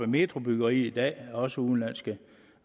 metro byggeriet i dag er der også udenlandske